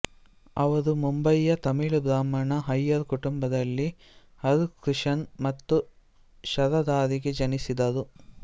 ಅವರು ಮುಂಬೈಯ ತಮಿಳು ಬ್ರಾಹ್ಮಣ ಅಯ್ಯರ್ ಕುಟುಂಬದಲ್ಲಿ ಆರ್ ಕೃಷನ್ ಮತ್ತು ಶಾರದಾರಿಗೆ ಜನಿಸಿದರು